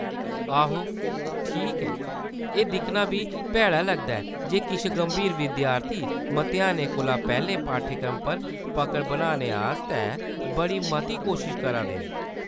आहो, ठीक ऐ, एह्‌‌ दिक्खना बी भैड़ा लगदा ऐ जे किश गंभीर विद्यार्थी मतेहानै कोला पैह्‌‌‌लें पाठ्यक्रम पर पकड़ बनाने आस्तै बड़ी मती कोशश करा दे न।